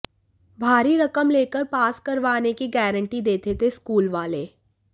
भारी रकम लेकर पास करवाने की गारंटी देते थे स्कूल वाले